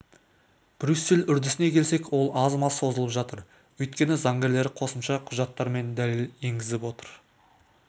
брюссель үрдісіне келсек ол аз-маз созылып жатыр өйткені заңгерлері қосымша құжаттар мен дәлел енгізіп отыр